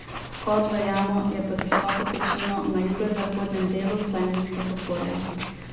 Vhod v jamo je pod visoko pečino na jugozahodnem delu Planinskega polja.